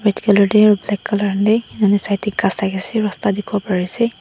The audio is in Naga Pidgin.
ete colour teh inune saitik sai ase rasta dekhi pario ase.